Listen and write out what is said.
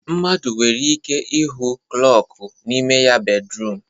Mmadụ nwere ike ịhụ klọku n'ime ya bedruum